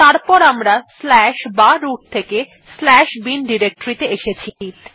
তারপর আমরা বা রুট থেকে bin ডিরেক্টরী ত়ে এসেছি